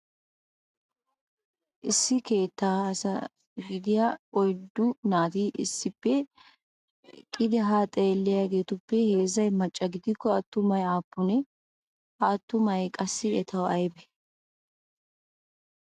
Issi keettaa asa gidiyaa oyddunasati issippe eqqodi ha xeeliyaagetuppe heezzay macca gidikko attumaage aappune? Ha attumaage qassi etaw aybbe ?